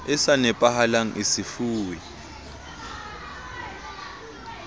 e sa nepahalang e sefuwe